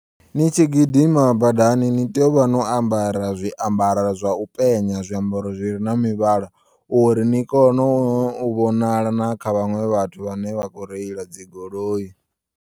Ni tshi gidima badani nitea uvha no ambara zwiambara zwa upenya, zwiambaro zwire na mivhala uri ni kone u vhonala na kha vhaṅwe vhathu vhane vha khou reila dzigoloi.